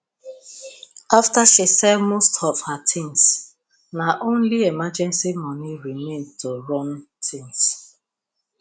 after she sell most of her things na only emergency money remain to run things